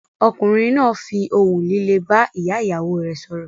Ọkùnrin náà fi ohùn líle bá ìyá-ìyàwó rẹ̀ sọ̀rọ̀.